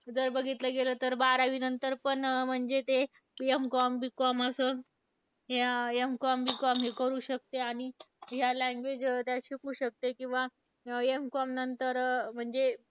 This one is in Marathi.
जर बघितलं गेलं तर बारावीनंतर पण, म्हणजे ते M com, B com असं, हे M com, B com हे करू शकते आणि ह्या language शिकू शकते किंवा M com नंतर म्हणजे